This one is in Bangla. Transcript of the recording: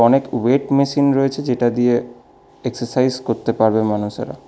এক ওয়েট মেশিন রয়েছে যেটা দিয়ে এক্সাসাইজ করতে পারবে মানুষেরা।